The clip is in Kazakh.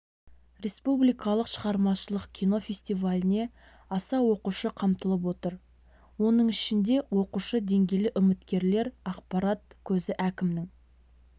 республикалық шығармашылық кино фестиваліне аса оқушы қамтылып отыр оның ішінде оқушы деңгейлі үміткерлер ақпарат көзі әкімінің